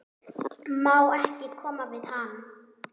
Má ekki koma við hann?